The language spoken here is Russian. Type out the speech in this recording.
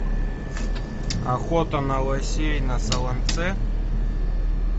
охота на лосей на солонце